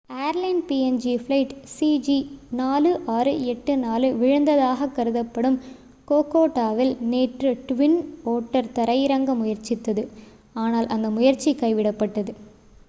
airline PNG flight சிஜி4684 விழுந்ததாக கருதப்படும் கோகோடாவில் நேற்று ட்வின் ஓட்டர் தரையிறங்க முயற்சித்தது ஆனால் அந்த முயற்சி கைவிடப்பட்டது